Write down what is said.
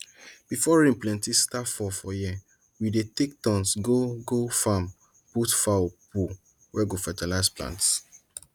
before rain plenty start fall for year we dey take turns go go farm put fowl poo wey go fertize plants